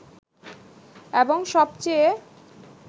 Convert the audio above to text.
এবং সবচেয়ে